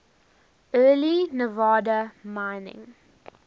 early nevada mining